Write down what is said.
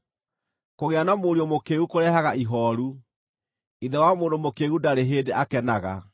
Kũgĩa na mũriũ mũkĩĩgu kũrehaga ihooru; ithe wa mũndũ mũkĩĩgu ndarĩ hĩndĩ akenaga.